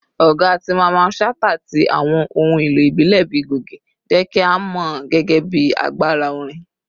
Ọga ti Mamman Shata ti awọn ohun elo ibile bii goge jẹ ki a mọ ọ gẹgẹbi agbara orin.